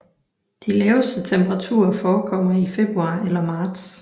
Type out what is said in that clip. De laveste temperaturer forekommer i februar eller marts